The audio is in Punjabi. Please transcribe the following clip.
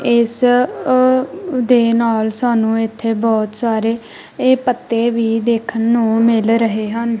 ਇਸ ਦੇ ਨਾਲ ਸਾਨੂੰ ਇਥੇ ਬਹੁਤ ਸਾਰੇ ਇਹ ਪੱਤੇ ਵੀ ਦੇਖਣ ਨੂੰ ਮਿਲ ਰਹੇ ਹਨ।